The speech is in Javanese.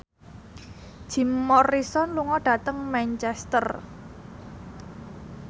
Jim Morrison lunga dhateng Manchester